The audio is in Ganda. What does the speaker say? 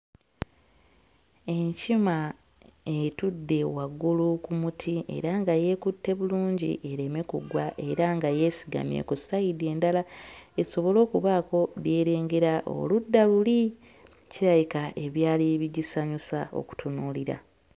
Enkima etudde waggulu ku muti era nga yeekutte bulungi ereme kugwa era nga yeesigamye ku sayidi endala esobole okubaako by'erengera oludda luli kirabika ebyali bigisanyusa okutunuulira.